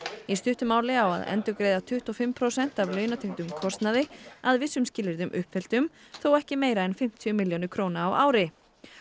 í stuttu máli á að endurgreiða tuttugu og fimm prósent af launatengdum kostnaði að vissum skilyrðum uppfylltum þó ekki meira en fimmtíu milljónir króna á ári